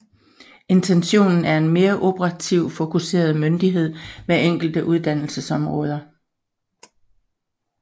Intentionen er en mere operativt fokuseret myndighed med enkelte uddannelsesområder